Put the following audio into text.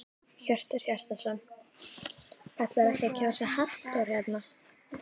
Hjörtur Hjartarson: Ætlarðu ekki að kjósa Halldór hérna?